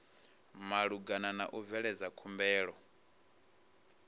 malugana na u bveledza khumbelo